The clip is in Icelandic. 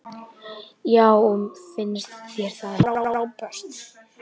Já og finnst þér það ekki frábært?